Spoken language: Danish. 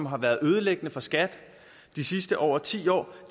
har været ødelæggende for skat de sidste over ti år